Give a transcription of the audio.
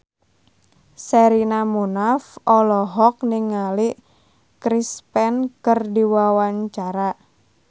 Sherina Munaf olohok ningali Chris Pane keur diwawancara